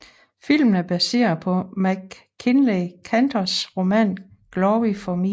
Filmen er baseret på MacKinlay Kantors roman Glory for Me